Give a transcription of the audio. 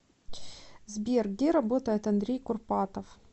сбер где работает андрей курпатов